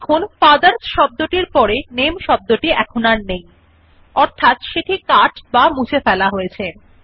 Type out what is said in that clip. দেখুন ফাদারস শব্দ টির পড়ে নামে শব্দটি আর নেই অর্থাৎ সেটি কাট বা মুছে ফেলা হয়েছে